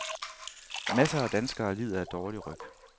Masser af danskere lider af dårlig ryg.